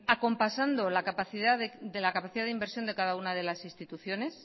acompasando la capacidad de inversión de cada una de las instituciones